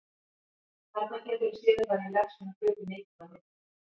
Þarna geturðu séð hvað ég legg svona hluti mikið á minnið!